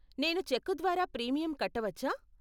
నేను చెక్కు ద్వారా ప్రీమియం కట్టవచ్చా?